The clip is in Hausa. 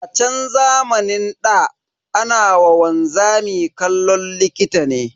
A chan zamanin ɗa, ana wa wanzami kallon likita ne.